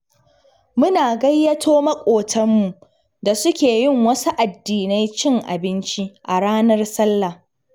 Muna gayyato maƙotanmu da suke yin wasu addinai cin abinci a ranar Sallah.